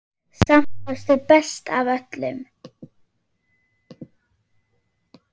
Samt varstu best af öllum.